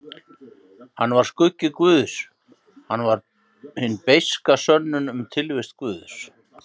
Hann var skuggi guðs, hann var hin beiska sönnun um tilvist guðs.